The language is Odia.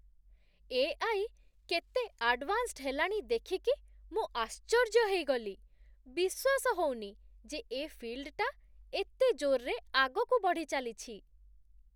ଏ.ଆଇ. କେତେ ଆଡ଼ଭାନ୍ସ୍ ହେଲାଣି ଦେଖିକି ମୁଁ ଆଶ୍ଚର୍ଯ୍ୟ ହେଇଗଲି । ବିଶ୍ଵାସ ହଉନି ଯେ ଏ ଫିଲ୍ଡ ଟା ଏତେ ଜୋର୍‌ରେ ଆଗକୁ ବଢ଼ିଚାଲିଚି ।